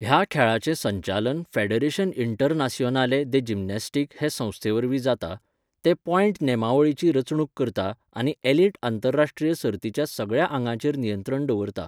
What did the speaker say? ह्या खेळाचें संचालन फेडरेशन इंटरनासिओनाले दे जिमनास्टीक हे संस्थेवरवीं जाता, जें पॉयंट नेमावळीची रचणूक करता आनी एलिट आंतरराश्ट्रीय सर्तीच्या सगळ्या आंगांचेर नियंत्रण दवरता.